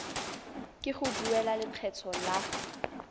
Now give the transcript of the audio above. ke go duela lekgetho la